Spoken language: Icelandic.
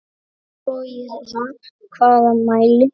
Ef svo í hvaða mæli?